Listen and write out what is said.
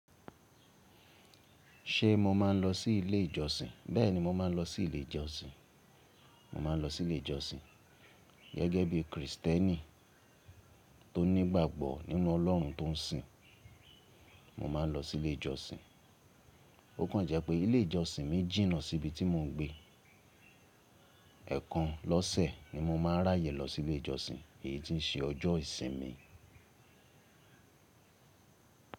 Ṣé mo máa ń lọ sí ilé ìjọsìn? Bẹ́ẹ̀ni, mo máa ń lọ sí ilé ìjọsìn. Mo máa ń lọ sí ilé ìjọsìn gẹ́gẹ́ bí Kristẹni tó ní ìgbàgbọ́ nínú Ọlọ́run tó ń sìn, mo máa ń lọ sí ilé ìjọsìn. Ó kàn jẹ́ pé ilé ìjọsìn mi jìnnà sí ibi tí mo ń gbé. Ẹ̀ẹ̀kan lọ́sẹ̀ ni mo máa ń ráyè lọ sí ilé ìjọsìn, èyí tí ṣe ọjọ́ ìsinmi.